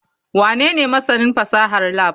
Wanene masanin fasahar lab?